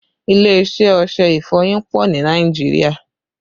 Ilé iṣẹ́ ọṣẹ ìfọyín pọ ni Nàìjíríà